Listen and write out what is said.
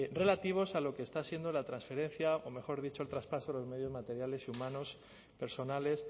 relativos a lo que está siendo la transferencia o mejor dicho el traspaso de los medios materiales y humanos personales